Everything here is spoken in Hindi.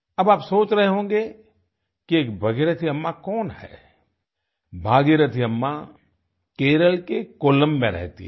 अब आप सोच रहे होंगे कि भागीरथी अम्मा कौन है भागीरथी अम्मा केराला के कोल्लम में रहती है